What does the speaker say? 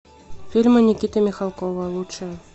фильмы никиты михалкова лучшие